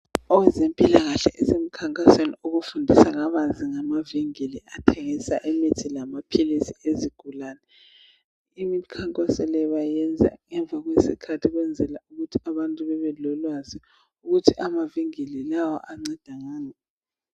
Owezempilakahle usemkhankasweni okufundisa kabanzi ngamavinkili athengisa imithi lamaphilisi ezigulane. Imikhankaso le bayenza ngemva kwesikhathi ukwenzela ukuthi abantu babe lolwazi ukuthi amavinkili lawa anceda ngani.